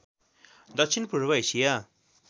दक्षिण पूर्व एसिया